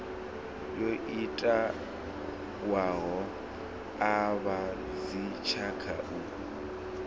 yo itiwaho a vhadzitshaka u